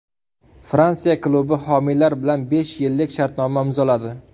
Fransiya klubi homiylar bilan besh yillik shartnoma imzoladi.